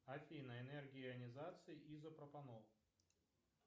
афина энергия ионизации изопропанол